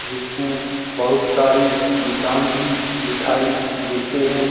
जिसमे बहुत सारी दुकान भी दिखाई देते हैं।